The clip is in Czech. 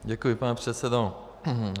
Děkuji, pane předsedo.